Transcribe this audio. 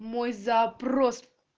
мой запрос